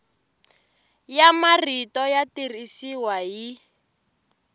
ya marito ya tirhisiwa hi